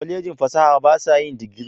Kwallejin fasaha ba sa yin digiri.